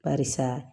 Barisa